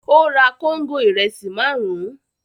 Ó ra kóńgò ìrẹsì márùn-ún.